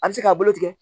A bɛ se k'a bolo tigɛ